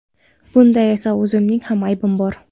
Bunda esa o‘zimning ham aybim bor.